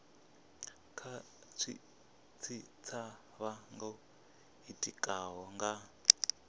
kha tshitshavha tsho itikaho nga